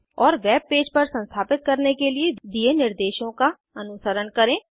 और web page पर संस्थापित करने के लिए दिए निर्देशों का अनुसरण करें